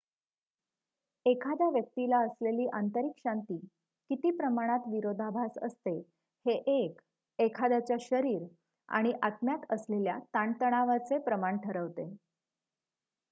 एखाद्या व्यक्तीला असलेली आंतरिक शांती किती प्रमाणात विरोधाभास असते हे 1 एखाद्याच्या शरीर आणि आत्म्यात असलेल्या ताणतणावाचे प्रमाण ठरवते